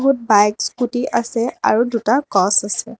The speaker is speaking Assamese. বহুত বাইক স্কুটী আছে আৰু দুটা গছ আছে।